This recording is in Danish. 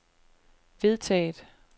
vedtaget